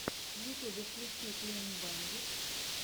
в ютьюбе включи клин бэндит